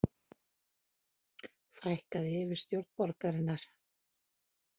Fækkað í yfirstjórn borgarinnar